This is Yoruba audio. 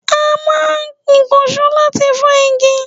A máa ń ìkànsó láti fọ́ igi